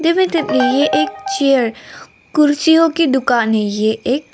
एक चेयर कुर्सियों की दुकानें हैं ये एक।